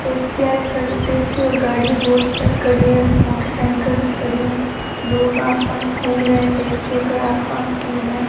टैक्सीयाए खड़ी टैक्सी और गाड़ीया बोहोत सारी खड़ी है मोटर साईकलस खड़ी है लोग आस-पास घूम रहे है टैक्सीयो के आस-पास भी है।